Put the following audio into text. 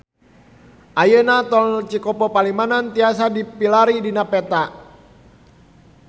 Ayeuna Tol Cikopo Palimanan tiasa dipilarian dina peta